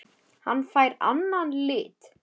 Hann fær annan lit.